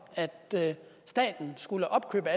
at staten skulle opkøbe